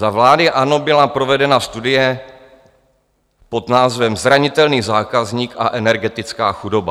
Za vlády ANO byla provedena studie pod názvem Zranitelný zákazník a energetická chudoba.